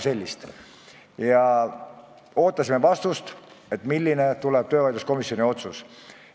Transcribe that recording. Me ootasime vastust, milline tuleb töövaidluskomisjoni otsus.